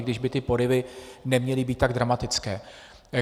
I když by ty poryvy neměly být tak dramatické.